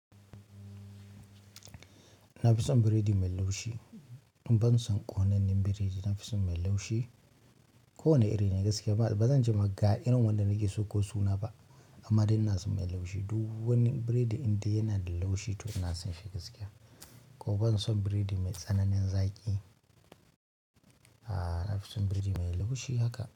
Nafison bredi mai laushi. Ban son konannen biredi, na fi son mai laushi. Ko wane iri na gaskiya ba, ba zan ce ma ga irin wanda nake so ko suna ba, amma dai ina son mai laushi. Duk wani biredi indai yana da laushi to ina son shi gaskiya. Kuma ban son biredi mai tsananin zaƙi. A'a, na fi son biredi mai laushi haka.